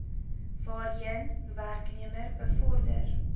waarheen werknemer bevorder